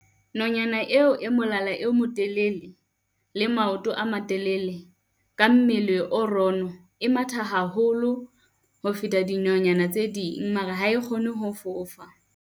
Nonyana eo e molala o motelele le maoto a matelele, ka mmele o rono. E matha haholo ho feta dinonyana tse ding mara ha e kgone ho fofa.